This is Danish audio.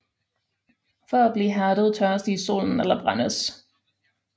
For at blive hærdet tørres de i solen eller brændes